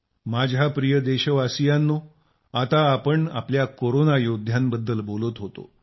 माझ्या प्रिय देशवासियांनो आता पण आपल्या कोरोना योध्यांबद्द्ल बोलत होतो